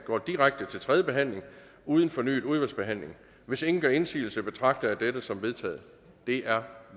går direkte til tredje behandling uden fornyet udvalgsbehandling hvis ingen gør indsigelse betragter jeg dette som vedtaget det er